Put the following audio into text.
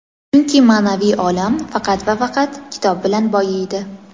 Chunki ma’naviy olam faqat va faqat kitob bilan boyiydi.